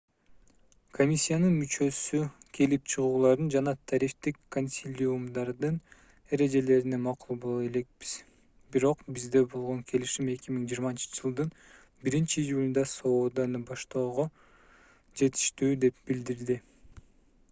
комиссиянын мүчөсү келип чыгуулардын жана тарифтик консилиумдардын эрежелерине макул боло элекпиз бирок бизде болгон келишим 2020-жылдын 1-июлунда сооданы баштоого жетиштүү деп билдирди